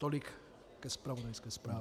Tolik ke zpravodajské zprávě.